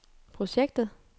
projektet